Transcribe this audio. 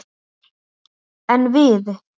En við!